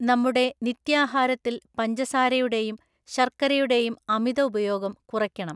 നമ്മുടെ നിത്യാഹാരത്തിൽ പഞ്ചസാരയുടെയും ശർക്കരയുടെയും അമിത ഉപയോഗം കുറയ്ക്കണം.